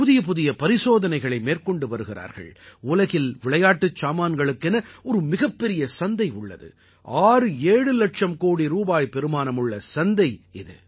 புதிய புதிய பரிசோதனைகளை மேற்கொண்டு வருகிறார்கள் உலகில் விளையாட்டுச் சாமான்களுக்கென ஒரு மிகப் பெரிய சந்தை உள்ளது 67 இலட்சம் கோடி பெறுமானமுள்ள சந்தை இது